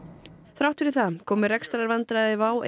þrátt fyrir það komu rekstrarvandræði WOW